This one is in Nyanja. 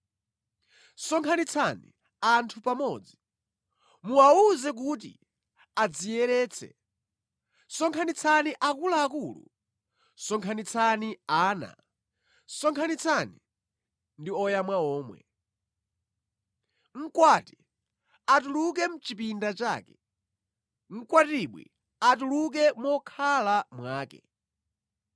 Sonkhanitsani anthu pamodzi, muwawuze kuti adziyeretse; sonkhanitsani akuluakulu, sonkhanitsani ana, sonkhanitsani ndi oyamwa omwe. Mkwati atuluke mʼchipinda chake, mkwatibwi atuluke mokhala mwake.